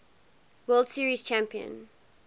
world series champion